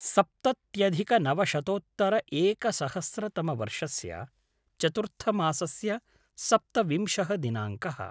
सप्तत्यधिकनवशतोत्तर एकसहस्रतमवर्षस्य चतुर्थमासस्य सप्तविंशः दिनाङ्कः